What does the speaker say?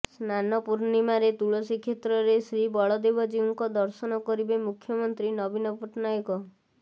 ସ୍ନାନପୂର୍ଣ୍ଣିମାରେ ତୁଳସୀକ୍ଷେତ୍ରରେ ଶ୍ରୀବଳଦେବ ଜୀଉଙ୍କ ଦର୍ଶନ କରିବେ ମୁଖ୍ୟମନ୍ତ୍ରୀ ନବୀନ ପଟ୍ଟନାୟକ